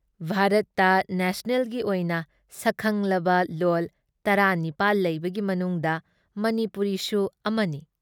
ꯚꯥꯔꯠꯇ ꯅꯦꯁꯅꯦꯜꯒꯤ ꯑꯣꯏꯅ ꯁꯛꯈꯪꯂꯕ ꯂꯣꯜ ꯱꯸ ꯂꯩꯕꯒꯤ ꯃꯅꯨꯡꯗ ꯃꯅꯤꯄꯨꯔꯤꯁꯨ ꯑꯃꯅꯤ ꯫